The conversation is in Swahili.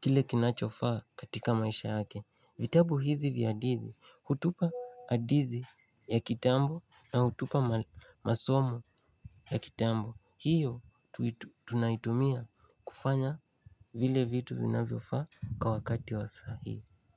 kile kinachofaa katika maisha yake vitabu hizi vya hadithi hutupa hadithi ya kitambo na hutupa ma masomo ya kitambo hiyo tunaitumia kufanya vile vitu vinavyofaa kwa wakati wa sahii.